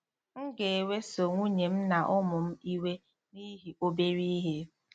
M ga-eweso nwunye m na ụmụ m iwe n'ihi obere ihe.